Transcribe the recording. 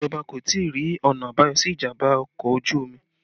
Ìjọba kò tí ì rí ọ̀nà àbáyọ sí ìjàmbá ọkọ̀ ojú omi